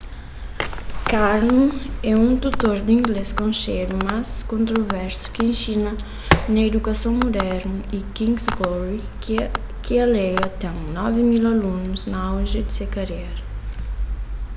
karno é un tutor di inglês konxedu mas kontroversu ki inxina na idukason mudernu y king's glory ki alega ten 9.000 alunus na auji di se karera